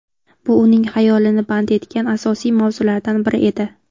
Bu uning xayolini band etgan asosiy mavzulardan biri edi.